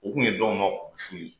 U tun ye dɔw ma kunmasuli ye